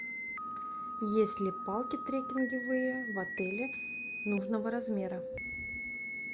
есть ли палки трекинговые в отеле нужного размера